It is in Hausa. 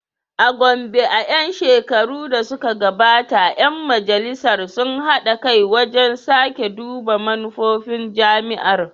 A Gombe, a ‘yan shekarun da suka gabata, ‘yan Majalisar sun haɗa kai wajen sake duba manufofin jami’ar.